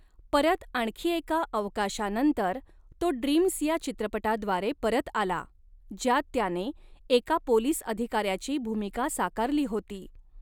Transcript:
परत आणखी एका अवकाशानंतर, तो 'ड्रीम्स' या चित्रपटाद्वारे परत आला, ज्यात त्याने एका पोलिस अधिकाऱ्याची भूमिका साकारली होती.